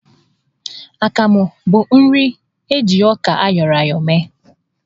Akamụ bụ nri eji ọka ayọrọ ya ayọ mee.